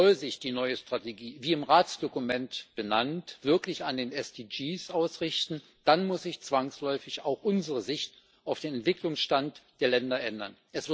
Soll sich die neue Strategie wie im Ratsdokument benannt wirklich an den SDGs ausrichten, dann muss sich zwangsläufig auch unsere Sicht auf den Entwicklungsstand der Länder ändern.